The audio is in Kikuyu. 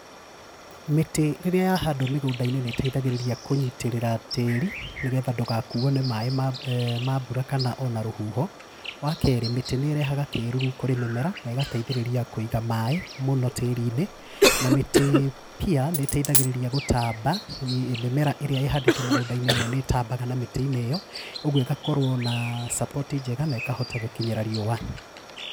Mĩtĩ rĩrĩa yahandwo mĩgũnda-inĩ nĩ ĩteithagĩrĩria kũnyitĩrĩra tĩri, nĩgetha ndũgakuo ni maĩ ma, ma mbura kana ona rũhuho, wakerĩ mĩtĩ nĩ ĩrehaga kĩruru kũrĩ mĩmera na ĩgateithĩrĩrĩa kũiga maĩ mũno tĩri-inĩ, na mĩtĩ pia nĩ ĩteithagĩrĩria gũtamba mĩmera ĩrĩa ĩhandĩtwo mũgũnda-inĩ ĩmwe nĩ ĩtambaga na mĩtĩ-inĩ ĩyo ũguo ĩgakorwo na support njega na ĩkahota gũkinyĩra riũa.